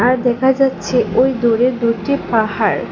আর দেখা যাচ্ছে ওই দূরের দুইটি পাহাড়।